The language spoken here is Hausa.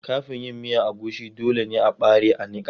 Kafin yin miya agushi, dole ne a ɓare a niƙa.